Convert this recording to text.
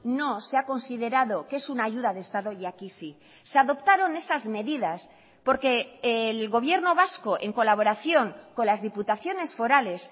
no se ha considerado que es una ayuda de estado y aquí sí se adoptaron esas medidas porque el gobierno vasco en colaboración con las diputaciones forales